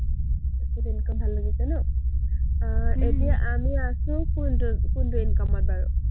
passive ভাল লাগিছে ন? আহ এতিয়া আমি আছো কোনটো-কোনটো income ত বাৰু?